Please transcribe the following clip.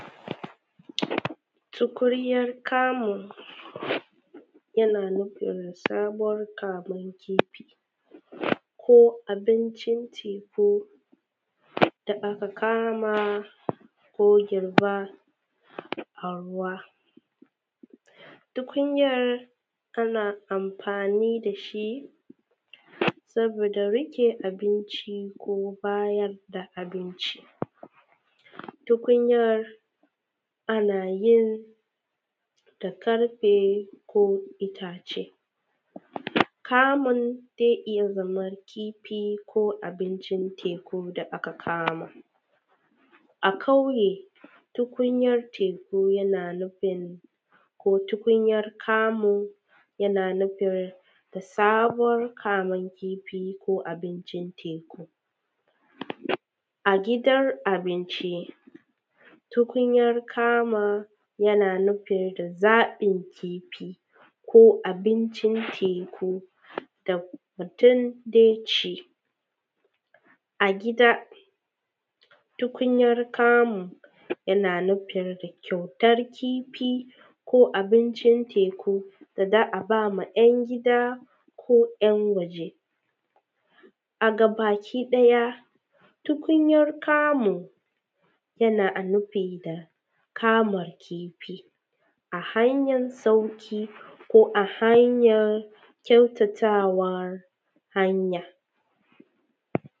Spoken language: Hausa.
Tukuryar kamun, yana nufin samar kamon kifi ko abincin ci ko da aka kama ko girba a ruwa. Tukunyar, ana amfani da shi saboda rike abinci ko bayar da abinci. Tukunyar ana yin da karfe ko itace. Kamun ze iya zama kifi ko abincin teku da aka kama. A kauye, tukunyar teku yana nufin ko tukunyar kamun yana nufin da sabor kamun kifi ko abincin teku. A gidan abinci, tukunyar kamun yana nufin da zaƃin kifi ko abincin teku da mutun de ci. A gida, tukunyar kamun yana nufir da kyautar kifi ko abincin teku da za a ba ma ‘yan gida ko ‘yan waje. A gabakiɗaya, tukunyar kamun yana a nufi da kama kifi a hanyan sauki ko a hanyar kyautatawar hanya.